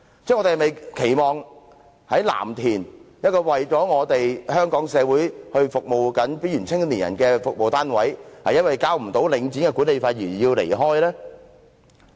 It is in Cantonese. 我們是否期望一個在藍田正為香港社會服務邊緣青年人的服務單位，因為無法繳交領展的管理費而要離開呢？